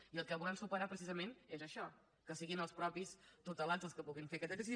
i el que volem superar precisament és això que siguin els propis tutelats els que puguin fer aquest exercici